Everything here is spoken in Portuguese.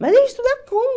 Mas eu ia estudar como?